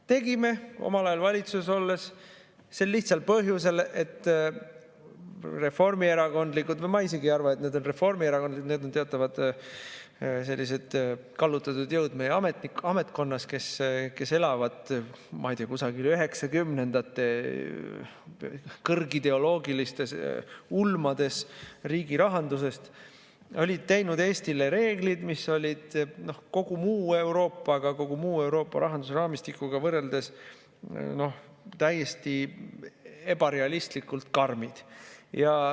Tegime omal ajal valitsuses olles sel lihtsal põhjusel, et reformierakondlikud jõud – või ma isegi ei arva, et need on reformierakondlikud, need on teatavad sellised kallutatud jõud meie ametkonnas, kes elavad, ma ei tea, kusagil 1990‑ndate kõrgideoloogilistes ulmades riigi rahandusest – olid teinud Eestile reeglid, mis olid kogu muu Euroopaga, kogu muu Euroopa rahanduse raamistikuga võrreldes täiesti ebarealistlikult karmid.